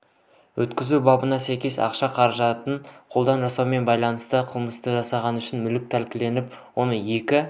отандық өндірушілердің өнімдерінің талаптарға сәйкес келмейтіні құрады қауіпті және сапасыз азық үлесінің негізгі сегменті импорттық өндірушілерге